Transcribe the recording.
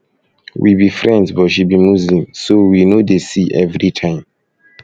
we be friends but she be muslim so we no dey see every time